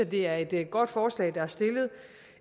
det er et et godt forslag der